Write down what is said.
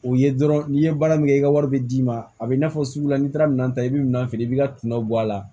O ye dɔrɔn n'i ye baara min kɛ i ka wari bɛ d'i ma a bɛ i n'a fɔ sugu la n'i taara minɛn ta i bɛ minan feere i b'i ka kunna bɔ a la